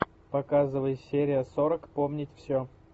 показывай серия сорок помнить все